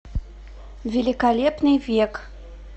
великолепный век